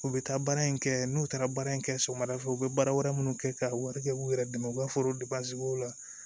U bɛ taa baara in kɛ n'u taara baara in kɛ sɔgɔmada fɛ u bɛ baara wɛrɛ minnu kɛ ka wari kɛ k'u yɛrɛ dɛmɛ u b'a fɔ la